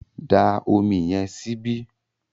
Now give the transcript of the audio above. dá Omi yen síbi!